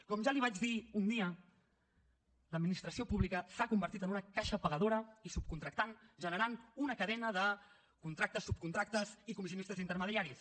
com ja li vaig dir un dia l’administració pública s’ha convertit en una caixa pagadora i subcontractant que genera una cadena de contractes subcontractes i comissionistes intermediaris